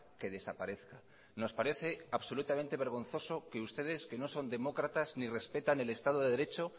que desaparezca nos parece absolutamente vergonzoso que ustedes que no son demócratas ni respetan el estado de derecho